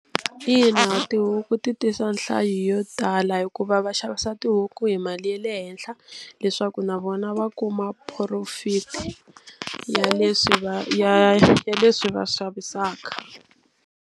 Ina, tihuku ti tisa nhlayo yo tala hikuva va xavisa tihuku hi mali ya le henhla leswaku na vona va kuma profit ya leswi va ya ya leswi va swi xavisaka.